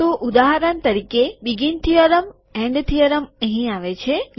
તો ઉદાહરણ તરીકે શરૂઆતનું પ્રમેય છેવટનું પ્રમેય અહીંયા આવે છે